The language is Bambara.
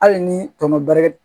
Hali ni tɔnɔ bɛri